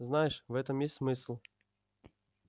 знаешь в этом есть смысл